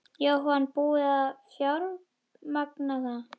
Jóhann: Búið að fjármagna það?